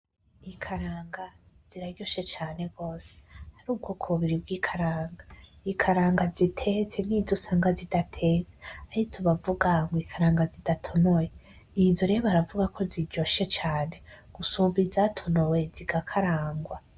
Ikaranga ziraryoshe cane gose, har'ubwoko bubiri bw'ikaranga, ikaranga zitetse, n'izusanga zidatetse nkizo bavuga ngo ikaranga zidatonoye. Izo rero baravuga ko ziryoshe cane gusumba izatonowe zigakarangwa.